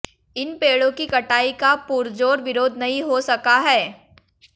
इन पेड़ों की कटाई का पुरजोर विरोध नहीं हो सका है